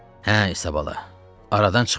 Hə, İsabalala, aradan çıxmaq vaxtıdır.